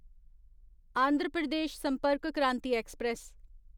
Andhra Pradesh Sampark Kranti express